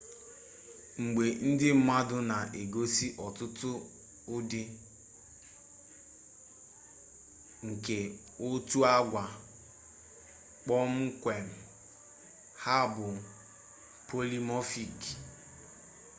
mgbe ndị mmadụ na-egosi ọtụtụ ụdị nke otu agwa kpọmkwem ha bụ polimọfik